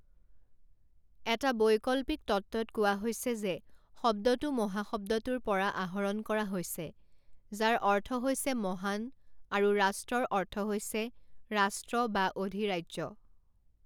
এটা বৈকল্পিক তত্ত্বত কোৱা হৈছে যে শব্দটো মহা শব্দটোৰ পৰা আহৰণ কৰা হৈছে যাৰ অৰ্থ হৈছে মহান আৰু ৰাষ্ট্ৰৰ অৰ্থ হৈছে ৰাষ্ট্ৰ বা অধিৰাজ্য।